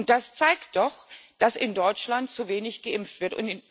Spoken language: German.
Das zeigt doch, dass in Deutschland zu wenig geimpft wird.